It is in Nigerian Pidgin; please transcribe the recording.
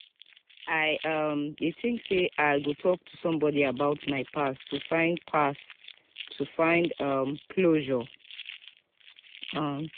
i um dey think say i go talk to someone about my past to find past to find um closure. um